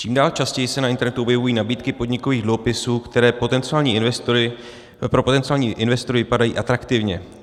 Čím dál častěji se na internetu objevují nabídky podnikových dluhopisů, které pro potenciální investory vypadají atraktivně.